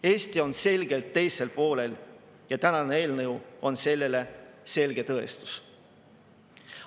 Eesti on selgelt teisel poolel ja tänane eelnõu on selle selge tõestus.